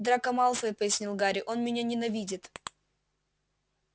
драко малфой пояснил гарри он меня ненавидит